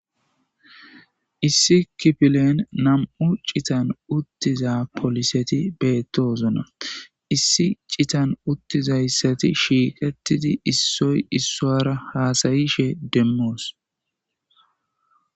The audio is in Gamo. Issi kipilen nam7u citan uttiza poliseti beettoosona issi citan uttizayssati shiiqetidi issoy issoara haasayishe demmoos.